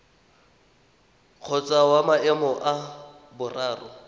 kgotsa wa maemo a boraro